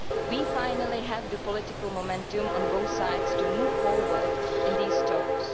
We finally have the political momentum on both sides to move forward in these talks.